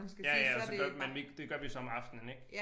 Ja ja så gør man nemlig ikke det gør vi så om aftenen ik